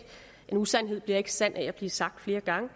en usandhed bliver ikke sand af at blive sagt flere gange